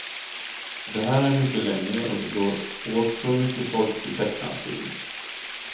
Det här är mycket längre och det går åt så mycket folk till tecknad film.